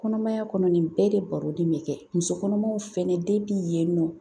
Kɔnɔmaya kɔnɔ nin bɛɛ de baronin bɛ kɛ musokɔnɔmaw fɛnɛ yen nɔ